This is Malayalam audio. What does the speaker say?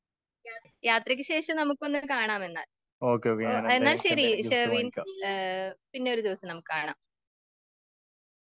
യാത്രക്ക് ശേഷം നമുക്കൊന്ന് കാണാമെന്നാൽ.എന്ന ശരി ഷെറിൻ, പിന്നൊരു ദിവസം നമുക്ക് കാണാം.